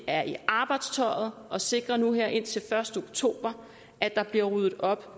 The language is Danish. er i arbejdstøjet og sikrer nu her indtil den første oktober at der bliver ryddet op